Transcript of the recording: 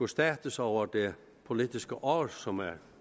status over det politiske år som er